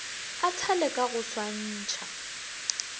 a thale ka go swantšha